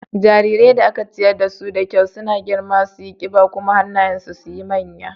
Jarirai da aka ciyar dasu da kyau suna girma suyi ƙiba kuma hannayen su sukan yi manya.